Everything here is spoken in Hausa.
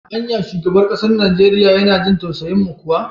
Anya shugaban kasar Nijeriya yana jin tausayin mu kuwa?